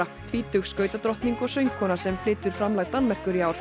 tvítug skautadrottning og söngkona sem flytur framlag Danmerkur í ár